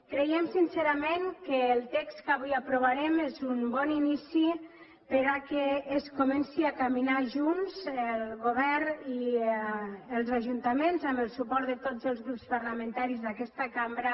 creiem sincerament que el text que avui aprovarem és un bon inici perquè comencin a caminar junts el govern i els ajuntaments amb el suport de tots els grups parlamentaris d’aquesta cambra